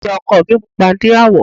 Ìyá ọkọ mi pupa ní àwọ̀.